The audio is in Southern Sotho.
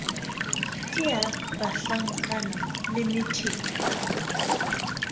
ke ya banhlankana le methepa